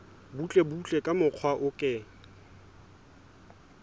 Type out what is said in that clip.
butlebutle ka mokgwa o ke